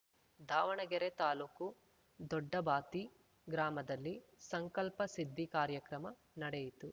ದಾವಣಗೆರೆ ತಾಲೂಕು ದೊಡ್ಡಬಾತಿ ಗ್ರಾಮದಲ್ಲಿ ಸಂಕಲ್ಪ ಸಿದ್ಧಿ ಕಾರ್ಯಕ್ರಮ ನಡೆಯಿತು